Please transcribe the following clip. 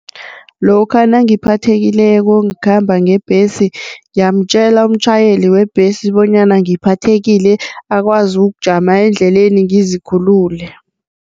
Lokha nangiphathekileko ngikhamba ngebhesi ngiyamtjela umtjhayeli webhesi bonyana ngiphathekile akwazi ukujama endleleni ngizikhulule.